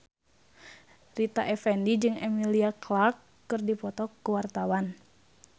Rita Effendy jeung Emilia Clarke keur dipoto ku wartawan